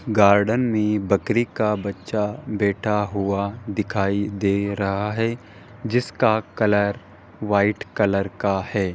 Garden में बकरी का बच्चा बैठा हुआ दिखाई दे रहा है जिसका कलर वाइट कलर का है।